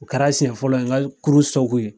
O kɛra siɲɛ fɔlɔ ye n ka kurun ye.